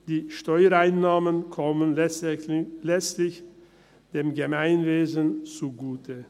Die Steuereinnahmen kommen letztlich dem Gemeinwesen zugute.